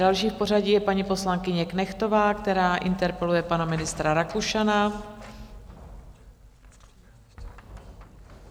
Další v pořadí je paní poslankyně Knechtová, která interpeluje pana ministra Rakušana.